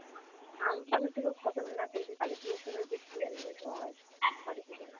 Amphan এর থেকেও খতরনাক এই যে কালী পূজোর সময় বৃষ্টি আসবে ঝড় আসবে , কালীপূজোয়।